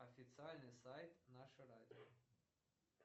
официальный сайт наше радио